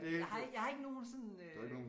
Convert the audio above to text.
Jeg har ikke jeg har ikke nogen sådan øh